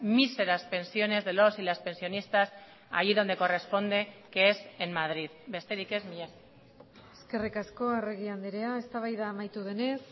míseras pensiones de los y las pensionistas allí donde corresponde que es en madrid besterik ez mila esker eskerrik asko arregi andrea eztabaida amaitu denez